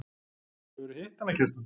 Hefurðu hitt hana, Kjartan?